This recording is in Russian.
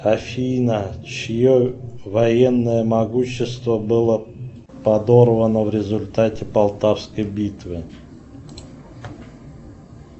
афина чье военное могущество было подорвано в результате полтавской битвы